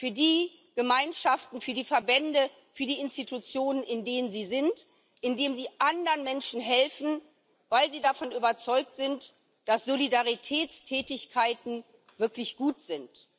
für die Gemeinschaft und für die Verbände, für die Institutionen, in denen sie sind, indem sie anderen Menschen helfen, weil sie davon überzeugt sind, dass Solidaritätstätigkeiten wirklich gut sind.